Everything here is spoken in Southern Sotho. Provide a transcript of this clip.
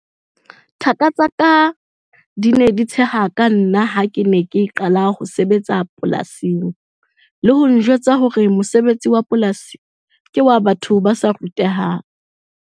Thaka tsa ka di ne di tsheha ka nna ha ke ne ke qala ho sebetsa polasing le ho njwetsa hore mosebetsi wa polasi ke wa batho ba sa rutehang.